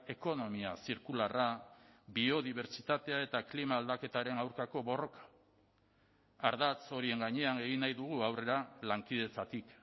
ekonomia zirkularra biodibertsitatea eta klima aldaketaren aurkako borroka ardatz horien gainean egin nahi dugu aurrera lankidetzatik